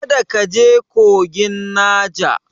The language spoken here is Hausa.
Kada ka je kogin Naja!